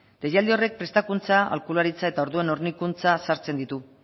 deialdi horrek prestakuntza aholkularitza eta orduen hornikuntza sartzen ditu